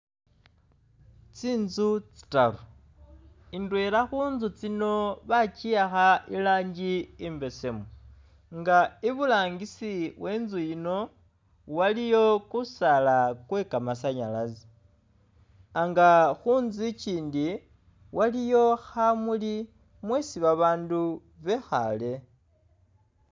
Tsinzu tsitaru, indwela khunzu tsino bakyiyaakha irangi imbesemu nga iburangisi wenzu yiino waliyo kusaala kwekamasanyalase nga khunzu ikyindi, waliyo khamuuli mweesi babaandu bekhaale